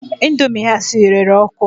Indomie ha siri rere ọkụ